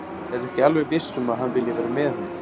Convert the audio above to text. Hann er ekki alveg viss um að hann vilji vera með henni.